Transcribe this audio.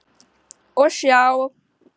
Og sjá.